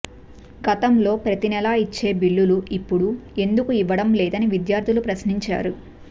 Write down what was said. గతంలో ప్రతినెల ఇచ్చే బిల్లులు ఇపుడు ఎందుకు ఇవ్వటం లేదని విద్యార్థులు ప్రశ్నించారు